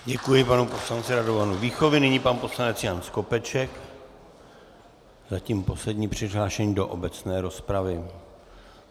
Děkuji panu poslanci Radovanu Víchovi, nyní pan poslanec Jan Skopeček, zatím poslední přihlášení do obecné rozpravy.